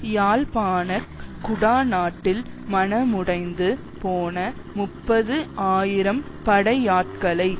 யாழ்ப்பாண குடாநாட்டில் மனமுடைந்து போன முப்பது ஆயிரம் படையாட்களை